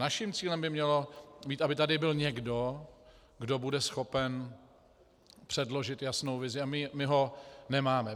Naším cílem by mělo být, aby tady byl někdo, kdo bude schopen předložit jasnou vizi, a my ho nemáme.